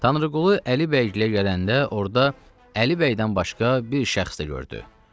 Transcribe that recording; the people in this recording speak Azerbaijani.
Tanrıqulu Əli bəygilə gələndə orda Əli bəydən başqa bir şəxs də gördü.